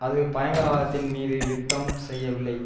அது பயங்கரவாதத்தின் மீது யுத்தம் செய்யவில்லை